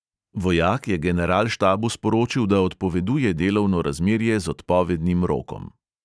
Vojak je generalštabu sporočil, da odpoveduje delovno razmerje z odpovednim rokom.